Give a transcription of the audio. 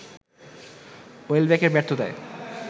ওয়েলব্যাকের ব্যর্থতায়